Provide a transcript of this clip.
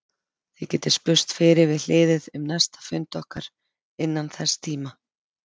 Þið getið spurst fyrir við hliðið um næsta fund okkar innan þess tíma.